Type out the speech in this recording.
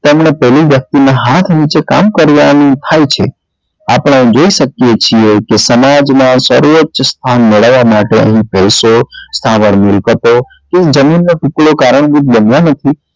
તેમને તેવી વ્યક્તિ ના હાથ નીચે કામ કર્યા નું થાય છે આપને જોઈએ શકીએ છીએ કે સમાજ માં સર્વોચ સ્થાન મેળવવા માટે અહિયાં પૈસો સવાર મિલકતો જમીન ના ટુકડે